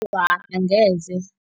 Awa, angeze.